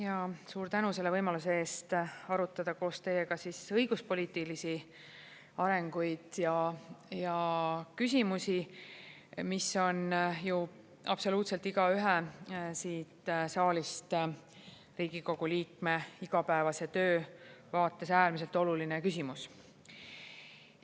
Ja suur tänu selle võimaluse eest arutleda koos teiega õiguspoliitilisi arenguid ja küsimusi, mis on ju absoluutselt igaühe siit saalist, Riigikogu liikme igapäevase töö vaates äärmiselt oluline küsimus.